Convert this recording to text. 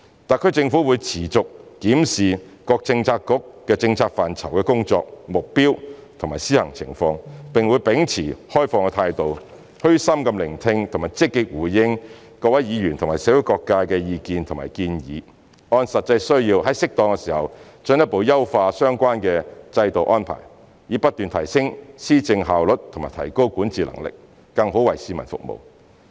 特區政府會持續檢視各政策局政策範疇的工作、目標和施行情況，並會秉持開放態度，虛心聆聽及積極回應各位議員和社會各界的意見和建議，按實際需要在適當時候進一步優化相關制度安排，以不斷提升施政效率及提高管治能力，更好為市民服務。